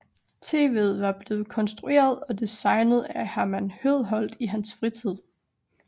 TVet var blevet konstrueret og designet af Herman Høedholt i hans fritid